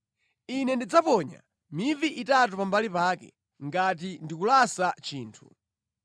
Ine ndidzaponya mivi itatu pambali pake, ngati ndikulasa chinthu.